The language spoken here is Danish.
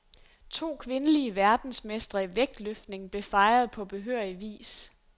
To kvindelige verdensmestre i vægtløftning blev fejret på behørig vis.